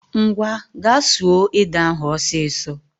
Common go and pound that Cocoyam ọsịsọ